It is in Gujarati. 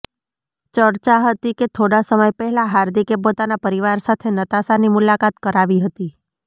ચર્ચા હતી કે થોડાં સમય પહેલાં હાર્દિકે પોતાના પરિવાર સાથે નતાશાની મુલાકાત કરાવી હતી